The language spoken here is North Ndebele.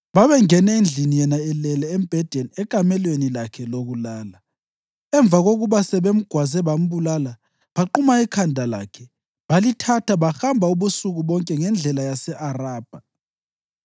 Babengene endlini yena elele embhedeni ekamelweni lakhe lokulala. Emva kokuba sebemgwaze bambulala, baquma ikhanda lakhe. Balithatha, bahamba ubusuku bonke ngendlela yase-Arabha.